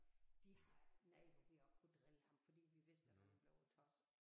De har nej hvor vi også kunne drille ham fordi vi vidste at han blev tosset